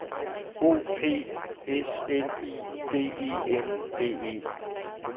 O P S L I D E N D E